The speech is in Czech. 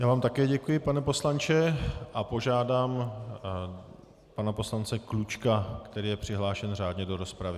Já vám také děkuji, pane poslanče, a požádám pana poslance Klučku, který je přihlášen řádně do rozpravy.